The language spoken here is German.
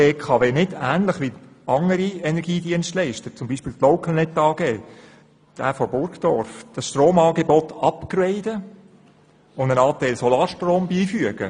Könnte die BKW nicht wie andere Energiedienstleister, zum Beispiel die Localnet AG aus Burgdorf, das StandardStromangebot upgraden und einen Anteil Solarstrom beifügen?